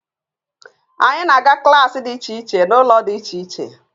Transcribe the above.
Anyị na-aga klaasị dị iche iche n'ụlọ dị iche iche